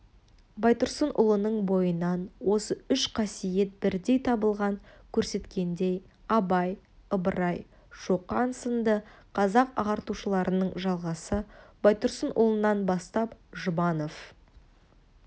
байтұрсынұлының бойынан осы үш қасиет бірдей табылған көрсеткендей абай ыбырай шоқан сынды қазақ ағартушыларының жалғасы байтұрсынұлынан бастап жұбанов